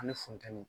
Ani funtɛniye